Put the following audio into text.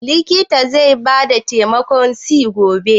Likitan zai ba ki bitamin C gobe?